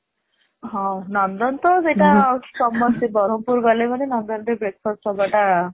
ହଁ ନନ୍ଦନ ତ ସେଇଟା ସମସ୍ତେ ବ୍ରହ୍ମପୁର ଗଲା ମାନେ ସେଇଟା ନନ୍ଦନ ରେ breakfast ହେବା ଟା